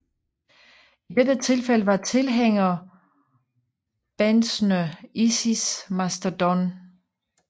I dette tilfælde var tilhængerbandsene Isis og Mastodon